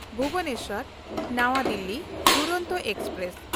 ᱵᱷᱩᱵᱚᱱᱮᱥᱥᱚᱨ–ᱱᱟᱣᱟ Delhi Duronto express